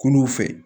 Kunun fɛ